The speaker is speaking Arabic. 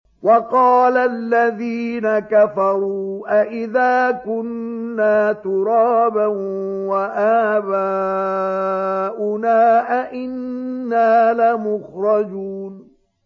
وَقَالَ الَّذِينَ كَفَرُوا أَإِذَا كُنَّا تُرَابًا وَآبَاؤُنَا أَئِنَّا لَمُخْرَجُونَ